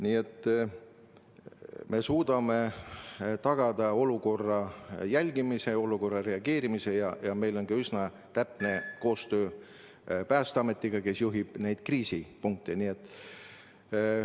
Nii et me suudame tagada olukorra jälgimise, olukorrale reageerimise ja meil on üsna täpne koostöö Päästeametiga, kes juhib tegevust kriisipunktides.